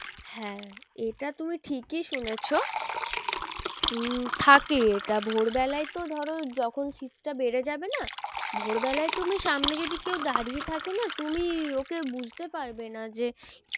হ্যাঁ এটা তুমিই ঠিকই শুনেছো। উম থাকে এটা ভোর বেলায় তো ধরো যখন শীতটা বেড়ে যাবে না ভোর বেলায় তুমি সামনে যদি কেউ দাঁড়িয়ে থাকে না তুমি ওকে বুঝতে পারবে না যে